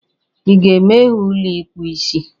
Ị ga-emeghe ụlọ ịkpụ isi?